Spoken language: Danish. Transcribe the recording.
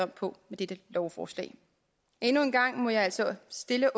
på med dette lovforslag endnu en gang må jeg altså stille